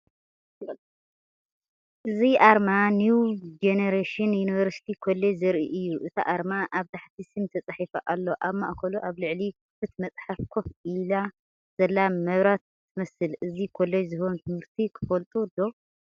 እዚ ኣርማ ኒው ጀኔሬሽን ዩኒቨርሲቲ ኮሌጅ ዘርኢ እዩ። እቲ ኣርማ ኣብ ታሕቲ ስም ተጻሒፉ ኣሎ። ኣብ ማእከሉ ኣብ ልዕሊ ክፉት መጽሓፍ ኮፍ ኢላ ዘላ መብራት ትመስል። እዚ ኮለጅ ዝህቦም ትምህርትታት ትፈልጡ ዶ?